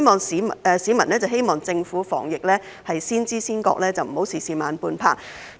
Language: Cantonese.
市民希望政府在防疫方面先知先覺，不要事事慢半拍。